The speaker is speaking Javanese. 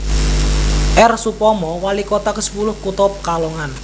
R Soepomo walikota kesepuluh kutha Pekalongan